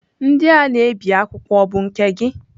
Ndị a na-ebi akwụkwọ ọ bụ nke gị?